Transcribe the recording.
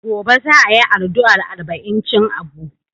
Gobe za a yi ardu'a arba'incin Abu.